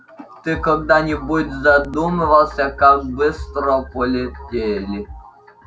ты когда-нибудь задумывался как быстро полетели